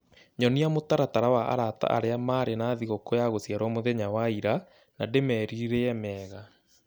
Nyonia mũtaratara wa arata arĩa marĩ na thigũkũ ya gũciarwo mũtheya wa ira, na ndĩmerirĩe mega